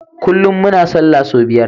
Kullun muna sallah sau biyar